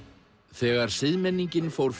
þegar siðmenningin fór